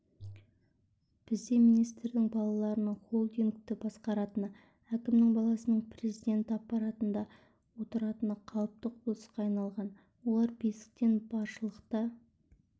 бізде министрдің баласының холдингті басқаратыны әкімнің баласының президент аппаратында отыратыны қалыпты құбылысқа айналған олар бесіктен баршылықта